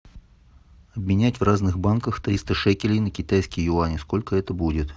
менять в разных банках триста шекелей на китайские юани сколько это будет